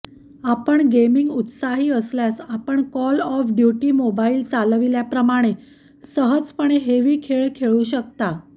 आपण गेमिंग उत्साही असल्यास आपण कॉल ऑफ ड्यूटी मोबाइल चालविल्याप्रमाणे सहजपणे हेवी खेळ खेळू शकता